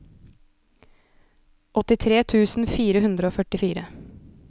åttitre tusen fire hundre og førtifire